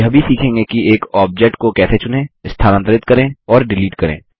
आप यह भी सीखेंगे कि एक ऑब्जेक्ट को कैसे चुनें स्थानांतरित करें और डिलीट करें